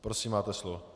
Prosím, máte slovo.